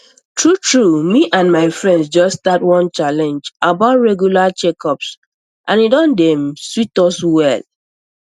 truetrue me and my friends just start one challenge about regular checkups and e don dey um sweet us well